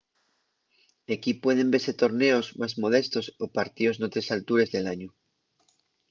equí pueden vese torneos más modestos o partíos n’otres altures del añu